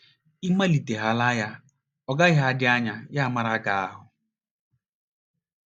Ị malitehaala ya, ọ gaghị adị anya ya amara gị ahụ́.